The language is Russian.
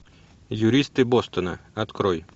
юристы бостона открой